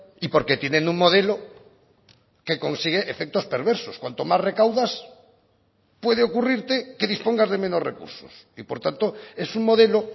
y porque tienen un modelo que consigue efectos perversos cuanto más recaudas puede ocurrirte que dispongas de menos recursos y por tanto es un modelo